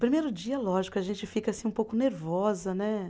Primeiro dia, lógico, a gente fica assim um pouco nervosa, né?